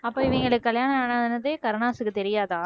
அப்ப இவுங்களுக்கு கல்யாணம் ஆன~ ஆனதே கருணாஸுக்கு தெரியாதா